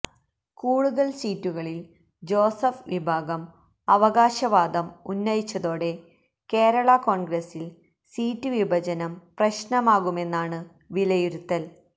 കൂടുതൽ സീറ്റുകളിൽ ജോസഫ് വിഭാഗം അവകാശവാദം ഉന്നയിച്ചതോടെ കേരള കോൺഗ്രസിൽ സീറ്റ് വിഭജനം പ്രശ്നമാകുമെന്നാണു വിലയിരുത്തൽ